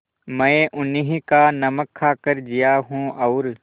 मैं उन्हीं का नमक खाकर जिया हूँ और